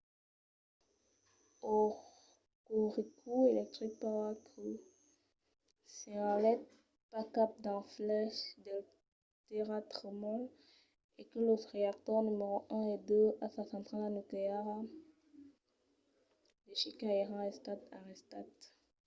hokuriku electric power co. senhalèt pas cap d'efièches del tèrratremol e que los reactors numèro 1 e 2 a sa centrala nucleara de shika èran estats arrestats